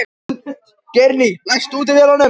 Geirný, læstu útidyrunum.